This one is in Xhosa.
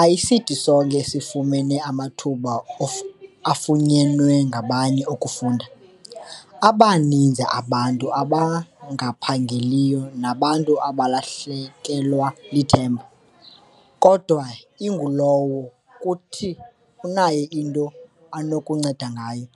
Ayisithi sonke esifumene amathuba afunyenwe ngabanye okufunda, abaninzi abantu abangaphangeliyo nabantu abalahlekelwa lithemba, kodwa ingulowo kuthi unayo into anokunceda ngayo.